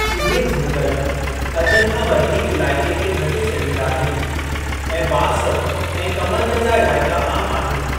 इहे झंगल, अध खां वधीक इलाइके खे ढके छॾींदा आहिनि ऐं बांस ऐं कमंद जा इलाइका आमु आहिनि।